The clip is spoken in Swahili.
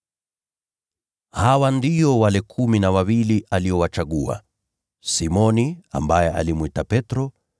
Hawa ndio wale kumi na wawili aliowachagua: Simoni (ambaye alimwita Petro);